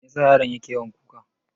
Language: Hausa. Me yasa yaron ke yawan kuka?